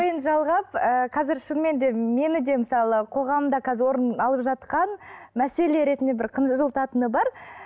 жалғап ы қазір шынымен де мені де мысалы қоғамда қазір орын алып жатқан мәселе ретінде бір қынжылтатыны бар